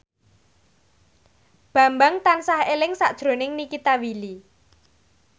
Bambang tansah eling sakjroning Nikita Willy